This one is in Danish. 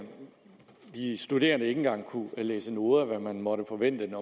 de studerende ikke engang kunne læse noder hvilke man måtte forvente af en